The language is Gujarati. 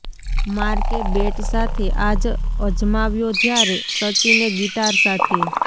માર્કે બેટ સાથે આજ અજમાવ્યો જ્યારે સચિને ગિટાર સાથે